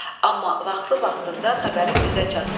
Amma vaxtı-vaxtında xəbərin bizə çatsın."